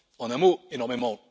En un mot, énormément.